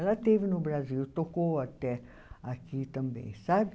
Ela esteve no Brasil, tocou até aqui também, sabe?